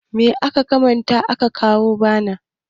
me ya kamata a kawo bana!